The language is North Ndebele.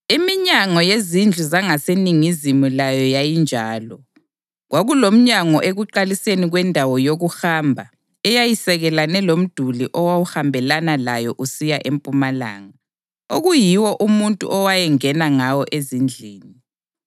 iminyango yezindlu zangaseningizimu layo yayinjalo. Kwakulomnyango ekuqaliseni kwendawo yokuhamba eyayisekelane lomduli owawuhambelana layo usiya empumalanga, okuyiwo umuntu owayengena ngawo ezindlini.